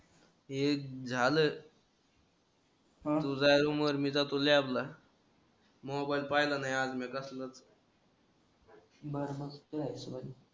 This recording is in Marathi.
एक झाल तु जाय रूमवर मी जातो लॅबला मोबाईल पहिला नाही मी आज कसलाच